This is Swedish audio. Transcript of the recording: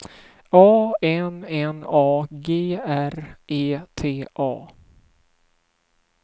A N N A G R E T A